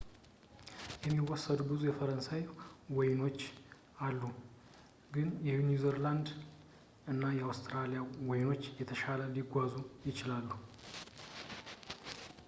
የሚወሰዱ ብዙ የፈረንሳይ ወይኖች አሉ ግን የኒው ዚላንድ እና አውስትራሊያ ወይኖች የተሻለ ሊጓዙ ይችላሉ